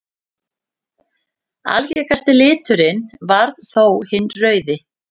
Algengasti liturinn varð þó hinn rauði.